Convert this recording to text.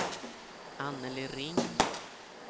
Annelie Ring